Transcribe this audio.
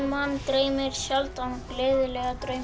mann dreymir sjaldan gleðilega drauma